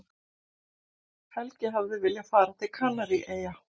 Helgi hafði viljað fara til Kanaríeyja.